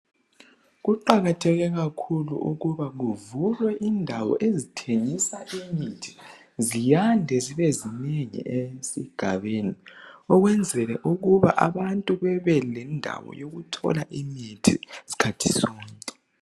Kuqakatheke kakhulu ukuthi kuvulwe indawo ezithengisa imithi. Ziyande zibe zinengi esigabeni, ukwenzela ukuba abantu bebe lendawo yokuthola mithi skhathi sonke.